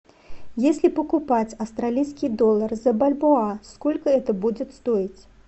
если покупать австралийский доллар за бальбоа сколько это будет стоить